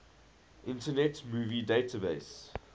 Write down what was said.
internet movie database